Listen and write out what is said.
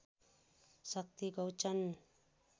Shakti Gauchan